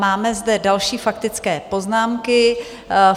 Máme zde další faktické poznámky.